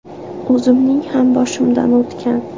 O‘zimning ham boshimdan o‘tgan.